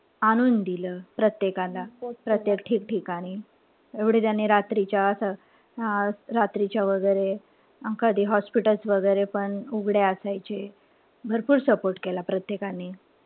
आणून दिल प्रत्येकाला. प्रत्येक ठिकठिकाणी एवढे त्यांनी रात्रीच्या अं रात्रीच्या वगैरे एखादी hospitals वगैरे पण उघडे असायचे. भरपूर support केला प्रत्येकाने.